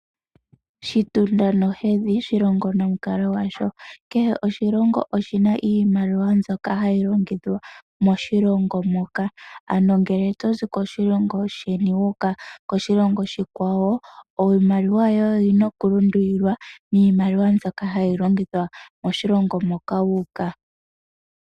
Oshitunda nohedhi shilongo nomukalo gwasho. Kehe oshilongo oshina iimaliwa mbyoka hayi longithwa moshilongo. Ngele tozi koshilongo sheni toyi koshilongo oshikwawo iimaliwa yoye oyina okulundulwa miimaliwa mbyoka hayi longithwa moshilongo moka toyi.